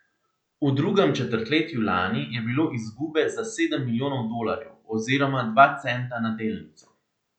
V drugem četrtletju lani je bilo izgube za sedem milijonov dolarjev oziroma dva centa na delnico.